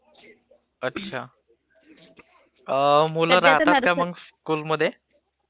अच्चा ping मुल राहतात का स्कूलमध्ये